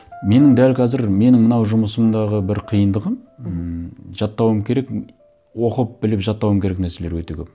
менің дәл қазір менің мынау жұмысымдағы бір қиындығы мхм ммм жаттауым керек оқып біліп жаттауым керек нәрселер өте көп